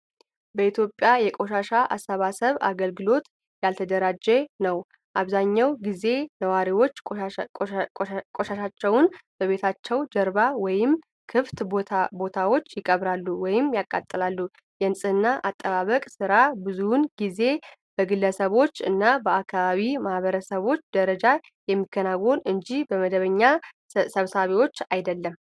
በኢትዮጵያ የቆሻሻ አሰባሰብ አገልግሎት ያልተደራጀ ነው። አብዛኛው ጊዜ ነዋሪዎች ቆሻሻቸውን በቤታቸው ጀርባ ወይም ክፍት ቦታዎች ይቀብራሉ ወይም ያቃጥላሉ። የንፅህና አጠባበቅ ሥራ ብዙውን ጊዜ በግለሰቦች እና በአካባቢ ማህበረሰቡ ደረጃ የሚከናወን እንጂ በመደበኛ ሰብሳቢዎች አይደለም።